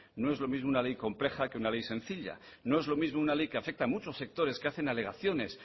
no es lo mismo una ley compleja que una ley sencilla no es lo mismo una ley que afecta a muchos sectores que hacen alegaciones